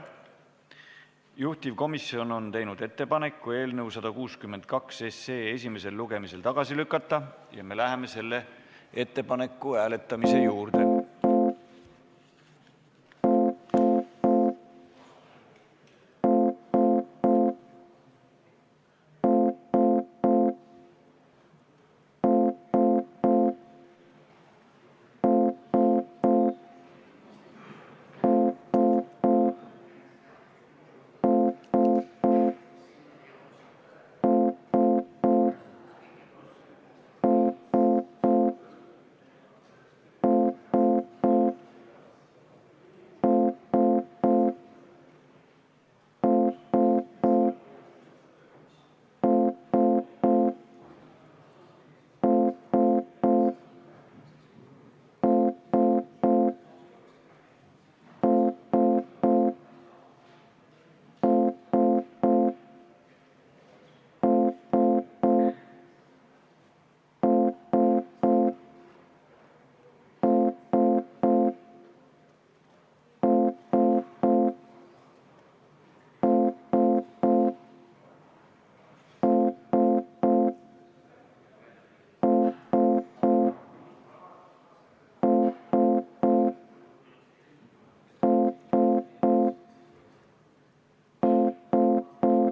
Juhtivkomisjon on teinud ettepaneku eelnõu 162 esimesel lugemisel tagasi lükata ja me läheme selle hääletamise juurde.